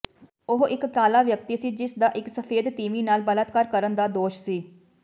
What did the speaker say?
ਉਹ ਇੱਕ ਕਾਲਾ ਵਿਅਕਤੀ ਸੀ ਜਿਸਦਾ ਇੱਕ ਸਫੈਦ ਤੀਵੀਂ ਨਾਲ ਬਲਾਤਕਾਰ ਕਰਨ ਦਾ ਦੋਸ਼ ਸੀ